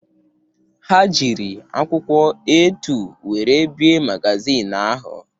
Ha ji akwụkwọ A2 wéré bie magazin ahu